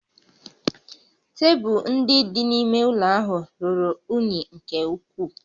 Tebụl ndị dị n'ime ụlọ ahụ ruru unyi nke ukwuu